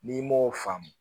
N'i m'o faamu